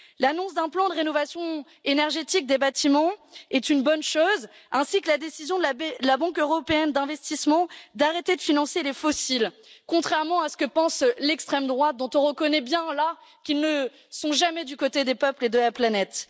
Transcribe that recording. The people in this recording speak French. L'annonce d'un plan de rénovation énergétique des bâtiments est une bonne chose, ainsi que la décision de la Banque européenne d'investissement d'arrêter de financer les fossiles, contrairement à ce que pense l'extrême droite dont on voit bien, en l'occurrence, qu'elle n'est jamais du côté des peuples et de la planète.